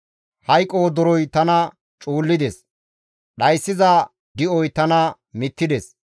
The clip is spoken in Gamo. Hayqo wodoroy tana cuullides; dhayssiza di7oy tana mittides.